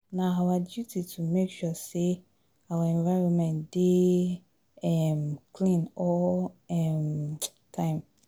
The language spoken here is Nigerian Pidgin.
Na our duty to make sure sey our environment dey um clean all di um time.